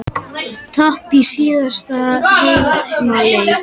Tap í síðasta heimaleik